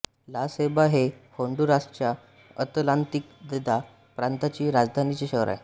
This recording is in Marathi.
ला सैबा हे होन्डुरासच्या अतलांतिदा प्रांताचे राजधानीचे शहर आहे